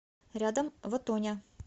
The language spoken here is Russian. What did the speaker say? рядом вотоня